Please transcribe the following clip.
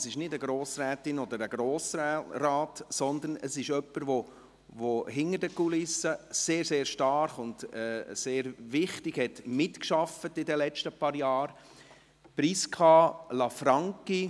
Es ist nicht eine Grossrätin oder ein Grossrat, sondern es ist jemand, der hinter den Kulissen in den letzten Jahren sehr, sehr stark und sehr wichtig mitgearbeitet hat, nämlich Prisca Lanfranchi.